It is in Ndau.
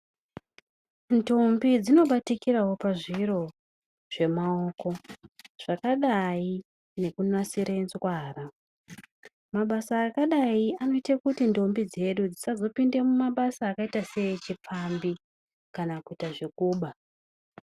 Ndombi dzinobatikirawo pazviro zvemaoko zvakadai nekunasire nzwara. Mabasa akadayi anoita kuti ndombi dzedu dzisazopinde mumabasa akaita seechipfambi kana kuita zvekuba.